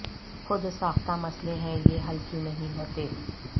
خود ساختہ مسئلے ہیں یہ حل کیوں نہیں ہوتے